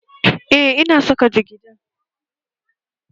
Eh, ina saka jigida